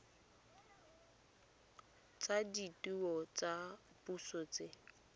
tsa ditheo tsa puso tse